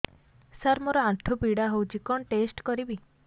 ସାର ମୋର ଆଣ୍ଠୁ ପୀଡା ହଉଚି କଣ ଟେଷ୍ଟ କରିବି